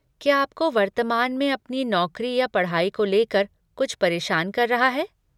क्या आपको वर्तमान में अपनी नौकरी या पढ़ाई को लेकर कुछ परेशान कर रहा है?